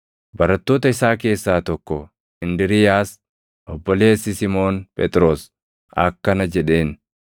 Barattoota isaa keessaa tokko Indiriiyaas, obboleessi Simoon Phexros akkana jedheen;